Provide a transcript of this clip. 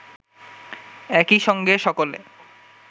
একই সঙ্গে সকলে